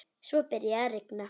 Svo byrjaði að rigna.